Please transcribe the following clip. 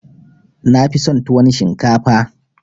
Na fi son tuwon shinkafa